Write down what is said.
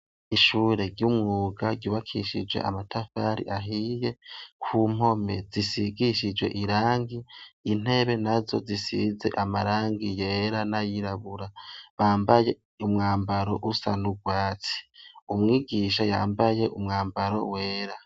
Ishuri ry'umwuga ryubakishije amatafari ahiye ku mpome zishigishijwe irangi intebe nazo zisize amarangi yera nayirabura bambaye umwambaro usa n'urwatsi umwigisha yambaye umwambaro wera.